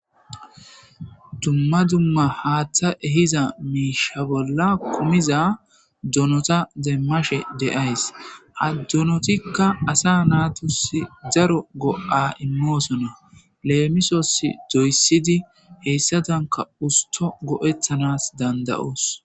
Dumma dumma haaththa ehiza miisha bolla kumiza dunota deemmashe de7ays addunotikka asa naatusi zaro go7a immoosonna leemisos doyessidi heyssatanka usto go7ethanas danda7oos.